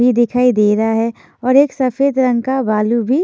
भी दिखाई दे रहा है और एक सफेद रंग का भालु भी--